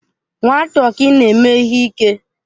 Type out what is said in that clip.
Nwa tọkị na-eme ihe ike.